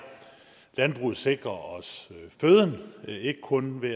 landbruget sikrer os føden ikke kun ved